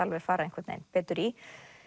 fara einhvern veginn betur í